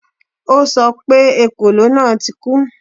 O sọ pé ekòló náà ti kú